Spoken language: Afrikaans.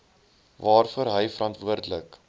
waarvoor hy verantwoordelik